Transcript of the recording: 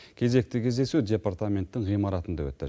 кезекті кездесу департаменттің ғимаратында өтті